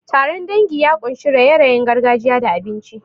Taron dangi ya ƙunshi raye-rayen gargajiya da abinci.